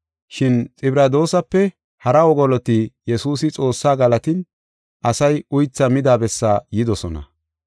Shin Xibradoosape hara wogoloti Yesuusi Xoossaa galatin, asay uythaa mida bessaa yidosona.